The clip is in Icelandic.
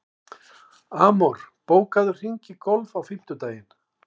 Amor, bókaðu hring í golf á fimmtudaginn.